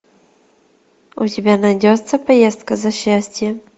у тебя найдется поездка за счастьем